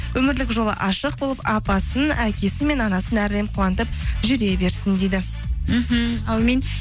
өмірлік жолы ашық болып апасын әкесі мен анасын әрдайым қуантып жүре берсін дейді мхм әумин